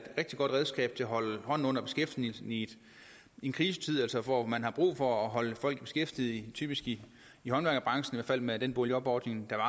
rigtig godt redskab til at holde hånden under beskæftigelsen i en krisetid altså hvor man har brug for at holde folk beskæftiget typisk i i håndværkerbranchen i hvert fald med den boligjobordning der